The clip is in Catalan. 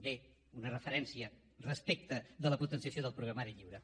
bé una referència respecte de la potenciació del programari lliure